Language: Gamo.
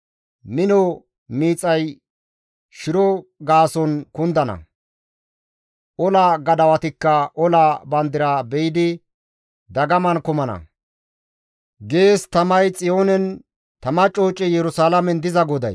Mino miixay shiro gaason kundana; ola gadawatikka ola bandira be7idi dagaman kumana» gees tamay Xiyoonen, tama coocey Yerusalaamen diza GODAY.